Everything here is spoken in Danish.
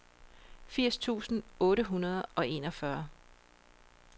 firs tusind otte hundrede og enogfyrre